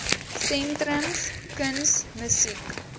sentrums kuns musiek